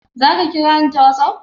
Zaki kira ni ta WhatsApp?